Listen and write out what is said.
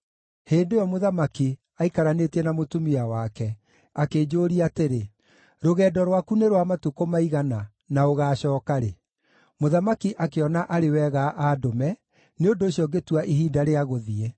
Hĩndĩ ĩyo mũthamaki, aikaranĩtie na mũtumia wake, akĩnjũũria atĩrĩ, “Rũgendo rwaku nĩ rwa matukũ maigana na ũgaacooka rĩ?” Mũthamaki akĩona arĩ wega andũme; nĩ ũndũ ũcio ngĩtua ihinda rĩa gũthiĩ.